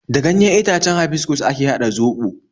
Da ganyen itacen habiskus ake haɗa zobo